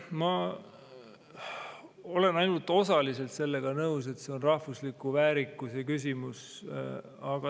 Ma olen ainult osaliselt nõus, et see on rahvusliku väärikuse küsimus.